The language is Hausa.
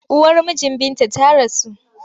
Uwar mijin Binta ta rasu.